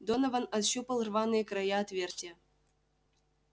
донован ощупал рваные края отверстия